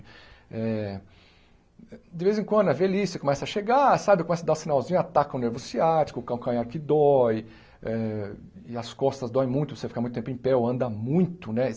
Eh de vez em quando é velhice, começa a chegar, sabe, começa a dar o sinalzinho, ataca o nervo ciático, o calcanhar que dói eh e as costas doem muito, você fica muito tempo em pé ou anda muito, né?